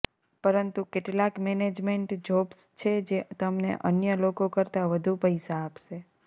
પરંતુ કેટલાક management jobs છે જે તમને અન્ય લોકો કરતા વધુ પૈસા આપશે